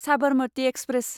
Sabarmati express